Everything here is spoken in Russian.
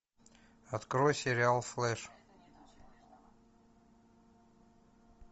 открой сериал флэш